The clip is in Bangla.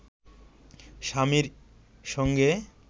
স্বামীর সঙ্গে